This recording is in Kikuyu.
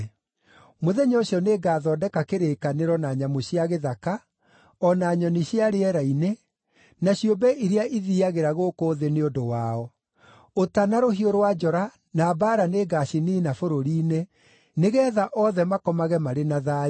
Mũthenya ũcio nĩngathondeka kĩrĩkanĩro na nyamũ cia gĩthaka, o na nyoni cia rĩera-inĩ, na ciũmbe iria ithiiagĩra gũkũ thĩ nĩ ũndũ wao. Ũta, na rũhiũ rwa njora, na mbaara nĩngaciniina bũrũri-inĩ, nĩgeetha othe makomage marĩ na thayũ.